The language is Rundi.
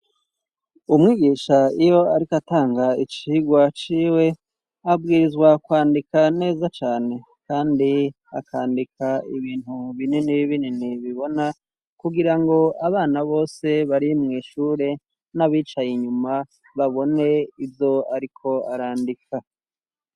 Umwigisha iyo ariko atanga icirwa ciwe abwirizwa kwandika neza cane kandi akandika ibintu binini binini bibona kugira ngo abana bose bari mu ishure n'abicaye inyuma babone ivyo ariko arandika.